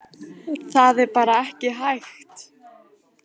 Það er bara ekki hægt